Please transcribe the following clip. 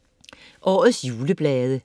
Årets juleblade